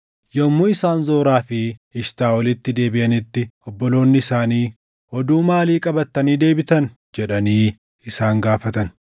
Yommuu isaan Zoraa fi Eshitaaʼolitti deebiʼanitti obboloonni isaanii, “Oduu maalii qabattanii deebitan?” jedhanii isaan gaafatan.